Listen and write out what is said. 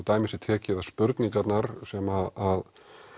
dæmi sé tekið að spurningarnar sem